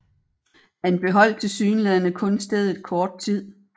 Han beholdt tilsyneladende kun stedet kort tid